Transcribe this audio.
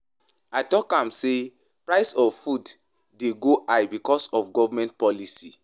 I talk am sey price of food dey go high because of government policy.